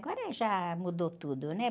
Agora já mudou tudo, né?